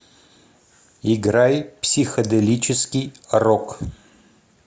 играй психоделический рок